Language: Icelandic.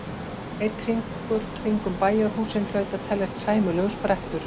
Einn hringur kringum bæjarhúsin hlaut að teljast sæmilegur sprettur.